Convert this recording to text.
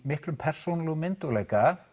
miklum persónulegum